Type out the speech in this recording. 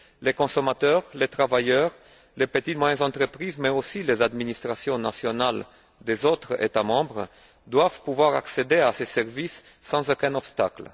Les consommateurs, les travailleurs, les petites et moyennes entreprises mais aussi les administrations nationales des autres États membres doivent pouvoir accéder à ces services sans aucun obstacle.